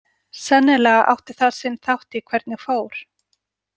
Sennilega átti það sinn þátt í hvernig fór.